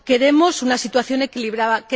Queremos una situación equilibrada.